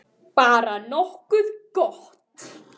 Bara nokkuð gott.